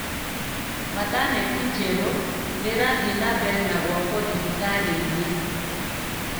Mataneti njerũ nĩ irathiĩ nambere na gwakwo thibitarĩinĩ